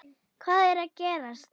Hvað er að gerast!